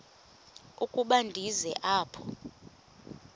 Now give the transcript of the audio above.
ukuba ndize apha